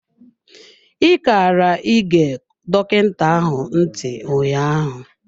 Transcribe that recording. I kara ị ge dọkịta ahụ ntị ụnyaahụ.